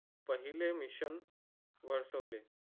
पहिले मिशन वर्तवले.